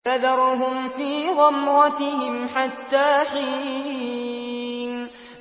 فَذَرْهُمْ فِي غَمْرَتِهِمْ حَتَّىٰ حِينٍ